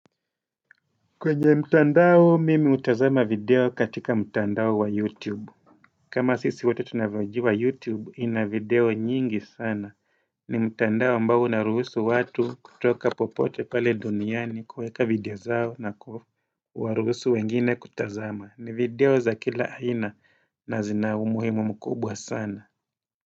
Kwenye mtandao mimi utazama video katika mtandao wa youtube kama sisi wote tunavaji wa youtube ina video nyingi sana ni mtandao ambao na ruhusu watu kutoka popote pale duniani kuweka video zao na kuwaruhusu wengine kutazama ni video za kila aina na zinaumuhimu mkubwa sana.